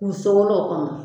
K'u sogolon o kɔnɔ